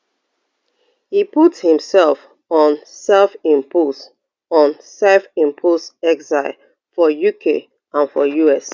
e put imsef on sefimpose on sefimpose exile for uk and for us